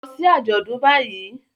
Lọ sí àjọ̀dún báyìí